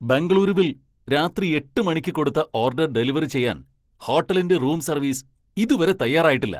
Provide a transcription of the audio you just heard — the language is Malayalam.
ബെംഗളൂരുവിൽ രാത്രി എട്ട് മണിക്ക് കൊടുത്ത ഓർഡർ ഡെലിവറി ചെയ്യാൻ ഹോട്ടലിന്റെ റൂം സർവീസ് ഇതുവരെ തയ്യാറായിട്ടില്ല.